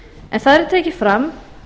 en þar er tekið fram